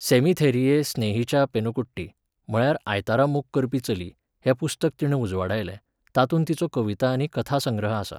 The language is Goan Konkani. सेमिथेरिये स्नेहिचा पेनकुट्टी, म्हळ्यार आयतारा मोग करपी चली, हें पुस्तक तिणें उजवाडायलें, तातूंत तिचो कविता आनी कथासंग्रह आसा.